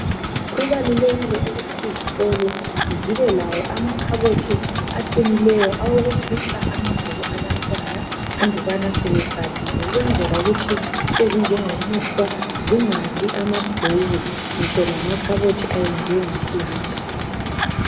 Kubalulekile ukuthi izikolo zibe lamakhabothi aqinileyo awokufihla amabhuku abantwana andubana sebebhalile ukwenzela ukuthi into ezinjengomuhlwa zingadli amabhuku ngitsho lamakhabothi ayenziwe ngeplanka.